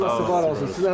Allah sizi var olsun.